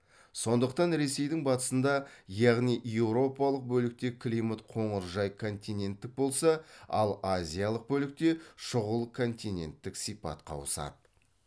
сондықтан ресейдің батысында яғни еуропалық бөлікте климат қоңыржай континенттік болса ал азиялық бөлікте шұғыл континенттік сипатқа ауысады